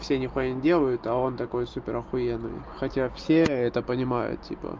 все нихуя не делают а он такой супер охуенный хотя все это понимают типа